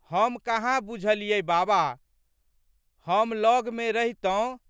हम कहाँ बुझलियै बाबा। हम लगमे रहितौं।